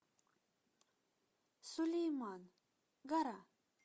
сулейман гора